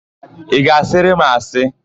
Ị ga-asịrị m asị?